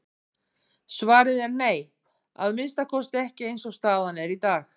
Svarið er nei, að minnsta kosti ekki eins og staðan er í dag.